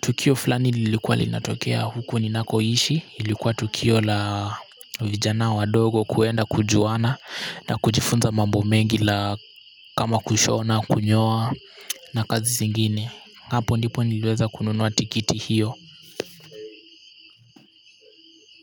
tukio fulani lilikuwa linatokea huko ninakoishi, lilikua tukio la vijana wadogo kuenda kujuana na kujifunza mambo mengi kama kushona, kunyoa na kazi zingine, hapo ndipo niliweza kununua tikiti hiyo.